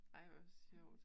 Ej, hvor sjovt